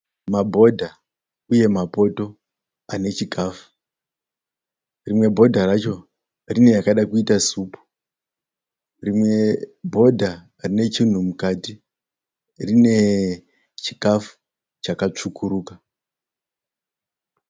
Mabhodha uye mapoto anechikafu rimwe bhodha racho rine yakada kuita supu rimwe bhodha rine chinhu mukati rine chikafu chakatsvukuruka